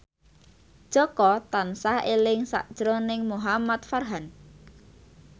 Jaka tansah eling sakjroning Muhamad Farhan